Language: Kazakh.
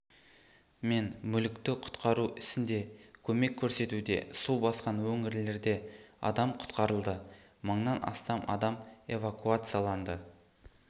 мен мүлікті құтқару ісінде көмек көрсетуде су басқан өңірлерде адам құтқарылды мыңнан астам адам эвакуацияланды